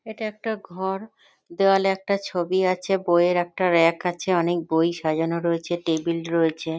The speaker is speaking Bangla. এটা একটা ঘর। দেওয়ালে একটা ছবি আছে। বই এর একটা রেক আছে। অনেক বই সাজানো রয়েছে টেবিল রয়েছে।